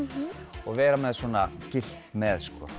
og vera með svona gyllt með